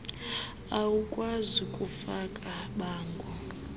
awukwazi kufaka bango